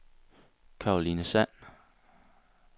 Caroline Sand